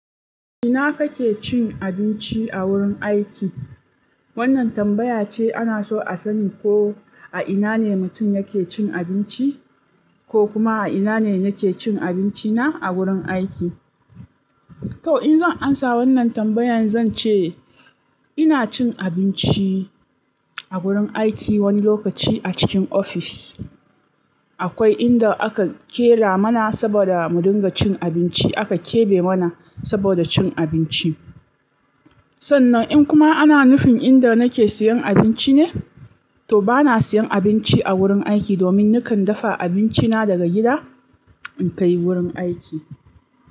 Ina kake cin abinci a wurin aiki? Wannan tambaya ce ana so a sani ko a ina ne mutum yake cin abinci, ko kuma a ina ne yake cin abinci na a wurin aiki. To in zan ansa wannan tambayan zan ce ina cin abinci a gurin aiki wani lokaci a cikin ofis. Akwai inda aka ƙera mana saboda mu dinga cin abinci, aka kebe mana saboda cin abinci. Sannan in kuma ana nufin inda nake siyan abinci ne, to bana siyan abinci a wurin aiki domin nakan dafa abinci na daga gida in kai wurin aiki.